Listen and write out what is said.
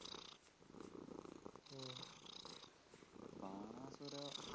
Banasura